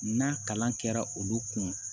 N'a kalan kɛra olu kun